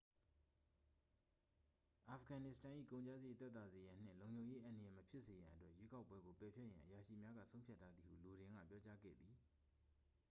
အာဖဂန်နစ္စတန်၏ ကုန်ကျစရိတ် သက်သာစေရန်နှင့်လုံခြုံရေး အန္တရာယ် မဖြစ်စေရန်အတွက် ရွေးကောက်ပွဲကို ပယ်ဖျက်ရန် အရာရှိများက ဆုံးဖြတ်ထားသည်ဟု လိုဒင်က ပြောကြားခဲ့သည်